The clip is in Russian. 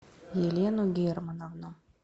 елену германовну